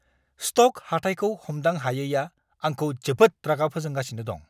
Stock हाथाइखौ हमदां हायैआ आंखौ जोबोद रागा फोजोंगासिनो दं!